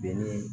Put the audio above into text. Dennin